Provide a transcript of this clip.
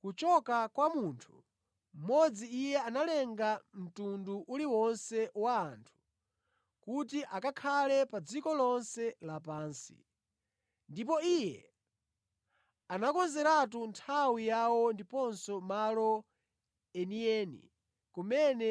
Kuchoka kwa munthu mmodzi Iye analenga mtundu uliwonse wa anthu, kuti akakhale pa dziko lonse lapansi; ndipo Iye anakonzeratu nthawi yawo ndiponso malo enieni kumene